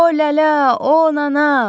O lələ, o anana.